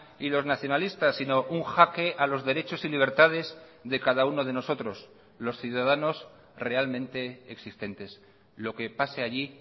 y los nacionalistas sino un jaque a los derechos y libertades de cada uno de nosotros los ciudadanos realmente existentes lo que pase allí